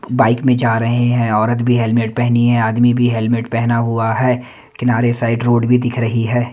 Bike में जा रहे हैं औरत भी हेलमेट पहनी है आदमी भी हेलमेट पहना हुआ है किनारे साइड रोड भी दिख रही है।